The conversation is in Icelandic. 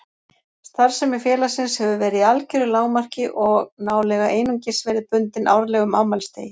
Starfsemi félagsins hefur verið í algeru lágmarki og nálega einungis verið bundin árlegum afmælisdegi